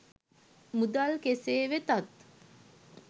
මුදල් කෙසේ වෙතත්